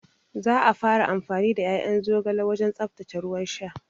Za a fara amfani da ƴaƴan zogale wajen tsaftace ruwan sha